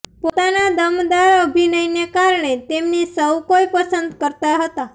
પોતાના દમદાર અભિનયને કારણે તેમને સૌ કોઈ પસંદ કરતા હતા